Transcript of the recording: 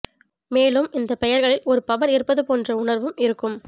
மேலும் இந்த பெயர்களில் ஒரு பவர் இருப்பது போன்ற உணர்வும் இருக்கும்